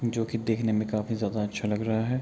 जो की देखने में काफी ज्यादा अच्छा लग रहा है।